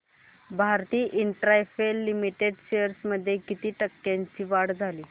Bharti Infratel limited shares मध्ये किती टक्क्यांची वाढ झाली